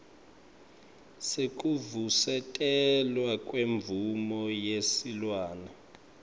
sekuvusetelwa kwemvumo yesilwane